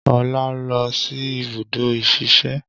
Ọlá lọ sí ibùdó ìsẹ̀se